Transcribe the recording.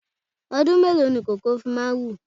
Ọdún mélòó ni koko fi máa ń wù?